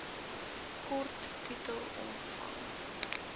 kort titel omvang